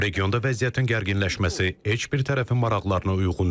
Regionda vəziyyətin gərginləşməsi heç bir tərəfin maraqlarına uyğun deyil.